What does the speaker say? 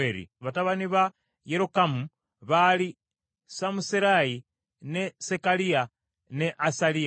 Batabani ba Yerokamu baali Samuserayi, ne Sekaliya, ne Asaliya,